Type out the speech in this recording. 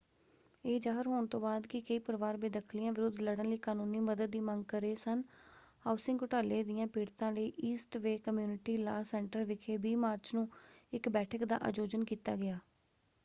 ਇਹ ਜ਼ਾਹਰ ਹੋਣ ਤੋਂ ਬਾਅਦ ਕਿ ਕਈ ਪਰਿਵਾਰ ਬੇਦਖ਼ਲੀਆਂ ਵਿਰੁੱਧ ਲੜਨ ਲਈ ਕਾਨੂੰਨੀ ਮਦਦ ਦੀ ਮੰਗ ਕਰ ਰਹੇ ਸਨ ਹਾਊਸਿੰਗ ਘੁਟਾਲੇ ਦਿਆਂ ਪੀੜਤਾਂ ਲਈ East Bay community law centre ਵਿਖੇ 20 ਮਾਰਚ ਨੂੰ ਇੱਕ ਬੈਠਕ ਦਾ ਆਯੋਜਨ ਕੀਤਾ ਗਿਆ।